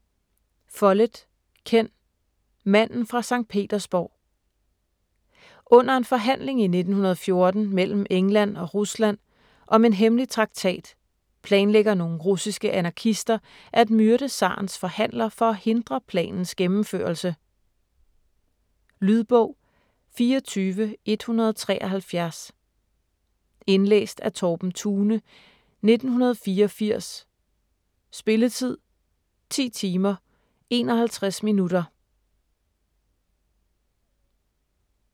Follett, Ken: Manden fra Sankt Petersburg Under en forhandling i 1914 mellem England og Rusland om en hemmelig traktat planlægger nogle russiske anarkister at myrde zarens forhandler for at hindre planens gennemførelse. Lydbog 24173 Indlæst af Torben Thune, 1984. Spilletid: 10 timer, 51 minutter.